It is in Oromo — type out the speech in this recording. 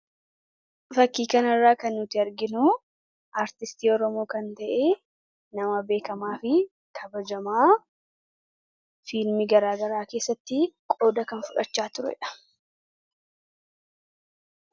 fakkii kan irraa kan nuti arginu artistii oromoo kan ta'e nama beekamaa fi kabajamaa fiilmii garaagaraa keessatti qooda kan fudhachaa turedha